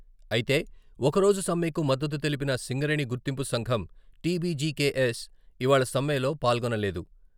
అయితే ఒకరోజు సమ్మెకు మద్దతు తెలిపిన సింగరేణి గుర్తింపు సంఘం టీబీజీకేఎస్. ఇవాళ సమ్మెలో పాల్గొనలేదు.